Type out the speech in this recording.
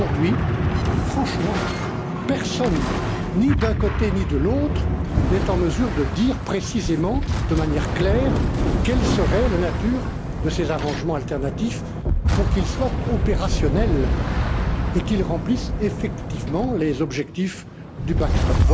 Mais aujourd'hui, franchement, personne, ni d'un côté, ni de l'autre, n'est en mesure de dire précisément, de manière claire, quelle serait la nature de ces dispositifs alternatifs pour qu'ils soient opérationnels et qu'ils remplissent effectivement les objectifs du backstop